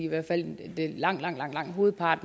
og regeringen